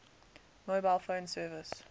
mobile phone service